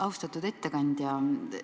Austatud ettekandja!